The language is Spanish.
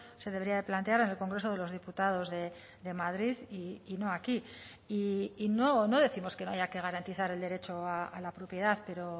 se debería de plantear en el congreso de los diputados de madrid y no aquí y no décimos que no haya que garantizar el derecho a la propiedad pero